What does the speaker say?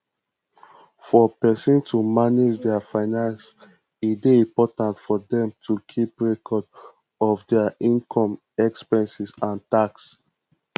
for person to manage their finances e dey important for them to keep record of their inome expenses and tax